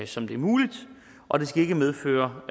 som det er muligt og det skal ikke medføre